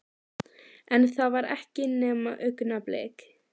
En það var ekki nema augnablik.